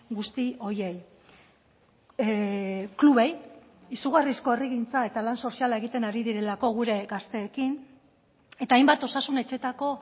guzti horiei klubei izugarrizko herrigintza eta lan soziala egiten ari direlako gure gazteekin eta hainbat osasun etxetako